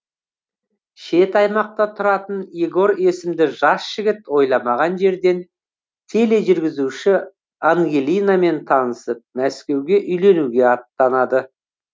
шет аймақта тұратын егор есімді жас жігіт ойламаған жерден тележүргізуші ангелинамен танысып мәскеуге үйленуге аттанады